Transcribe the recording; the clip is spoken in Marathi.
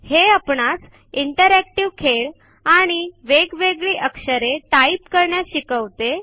हे आपणास इंटरॅक्टिव्ह खेळ आणि वेगवेगळी अक्षरे टाइप करण्यास शिकवते